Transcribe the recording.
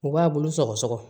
U b'a bulu sɔgɔsɔgɔ